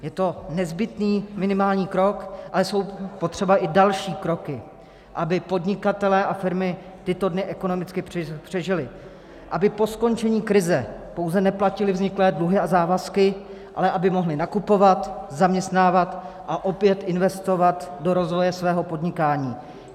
Je to nezbytný minimální krok, ale jsou potřeba i další kroky, aby podnikatelé a firmy tyto dny ekonomicky přežili, aby po skončení krize pouze neplatili vzniklé dluhy a závazky, ale aby mohli nakupovat, zaměstnávat a opět investovat do rozvoje svého podnikání.